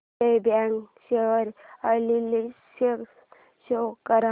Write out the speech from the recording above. Vijaya bank share analysis show कर